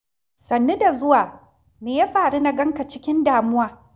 Sannu da zuwa. Me ya faru na ganka cikin damuwa?